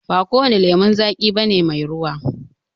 Ba kowane lemon zaƙi bane mai ruwa